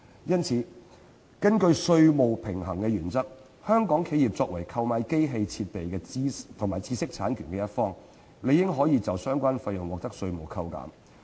因此，根據稅務對稱原則，香港企業作為購買機器設備及知識產權一方，理應可以就相關費用獲得稅務抵扣。